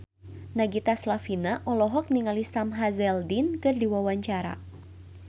Nagita Slavina olohok ningali Sam Hazeldine keur diwawancara